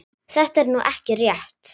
Þetta er nú ekki rétt.